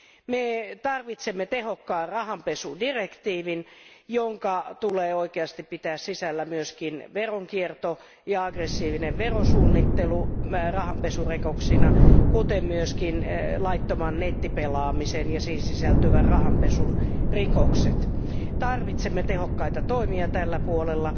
Me tarvitsemme tehokkaan rahanpesudirektiivin, jonka tulee oikeasti pitää sisällään myös veronkierto ja aggressiivinen verosuunnittelu rahanpesurikoksina, kuten myös laittoman nettipelaamisen ja siihen sisältyvän rahanpesun rikokset. Tarvitsemme tehokkaita toimia tällä puolella